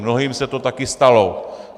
Mnohým se to taky stalo.